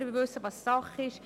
Wir wissen, was Sache ist.